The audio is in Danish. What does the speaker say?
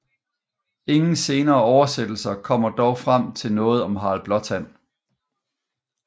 Ingen senere oversættelser kommer dog frem til noget om Harald Blåtand